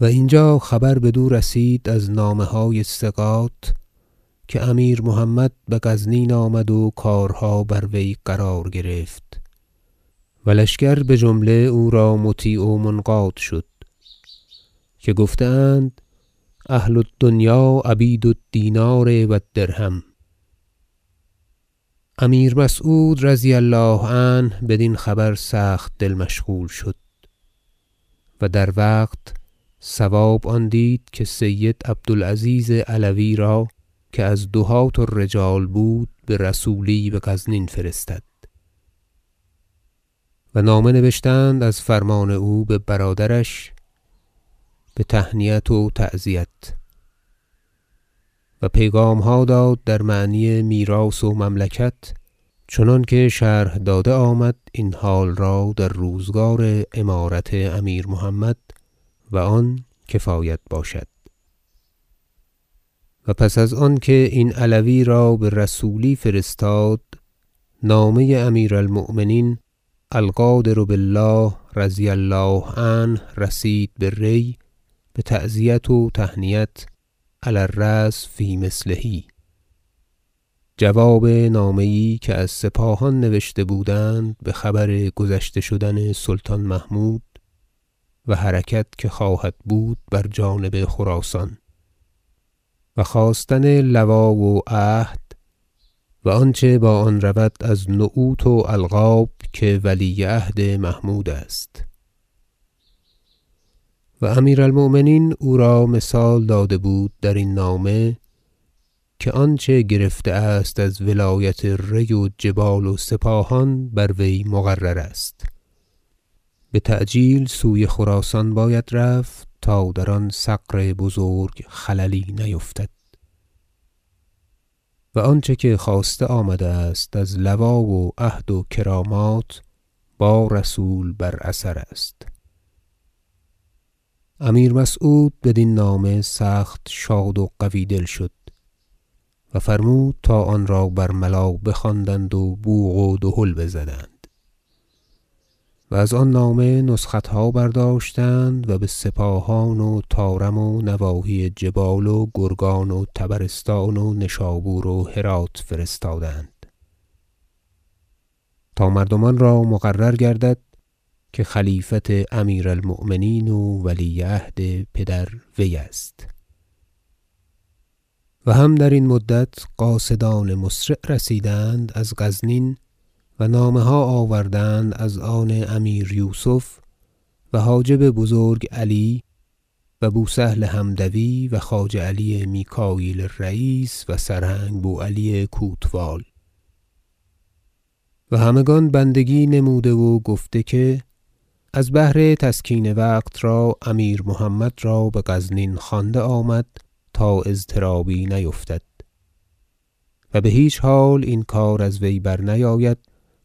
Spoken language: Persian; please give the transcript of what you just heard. و اینجا خبر بدو رسید از نامه های ثقات که امیر محمد به غزنین آمد و کارها بر وی قرار گرفت و لشکر بجمله او را مطیع و منقاد شد که گفته اند أهل الدنیا عبید الدینار و الدرهم امیر مسعود -رضی الله عنه- بدین خبر سخت دل مشغول شد و در وقت صواب آن دید که سید عبدالعزیز علوی را که از دهاة الرجال بود به رسولی به غزنین فرستد و نامه نبشتند از فرمان او به برادرش به تهنیت و تعزیت و پیغامها داد در معنی میراث و مملکت چنانکه شرح داده آمد این حال را در روزگار امارت امیر محمد و آن کفایت باشد و پس از آنکه این علوی را به رسولی فرستاد نامه امیر المؤمنین القادر بالله -رضي الله عنه- رسید به ری به تعزیت و تهنیت علی الرسم فی مثله جواب نامه یی که از سپاهان نوشته بودند به خبر گذشته شدن سلطان محمود و حرکت که خواهد بود بر جانب خراسان و خواستن لوا و عهد و آنچه با آن رود از نعوت و القاب که ولی عهد محمود است و امیر المؤمنین او را مثال داده بود در این نامه که آنچه گرفته است از ولایت ری و جبال و سپاهان بر وی مقرر است بتعجیل سوی خراسان باید رفت تا در آن ثغر بزرگ خللی نیفتد و آنچه که خواسته آمده است از لوا و عهد و کرامات با رسول بر اثر است امیر مسعود بدین نامه سخت شاد و قوی دل شد و فرمود تا آن را برملا بخواندند و بوق و دهل بزدند و و از آن نامه نسختها برداشتند و به سپاهان و طارم و نواحی جبال و گرگان و طبرستان و نشابور و هراة فرستادند تا مردمان را مقرر گردد که خلیفت امیر المؤمنین و ولی عهد پدر وی است و هم درین مدت قاصدان مسرع رسیدند از غزنین و نامه ها آوردند از آن امیر یوسف و حاجب بزرگ علی و بوسهل حمدوی و خواجه علی میکاییل رییس و سرهنگ بوعلی کوتوال و همگان بندگی نموده و گفته که از بهر تسکین وقت را امیر محمد را به غزنین خوانده آمد تا اضطرابی نیفتد و به هیچ حال این کار از وی برنیاید